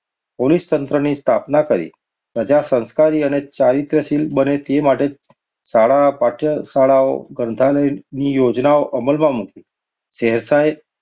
પોલીસતંત્રની સ્થાપના કરી. પ્રજા સંસ્કારી અને ચારિત્ર્યશીલ બને તે માટે શાળા, પાઠશાળાઓ, ગ્રંથાલયોની યોજના અમલમાં મૂકી. શેરશાહે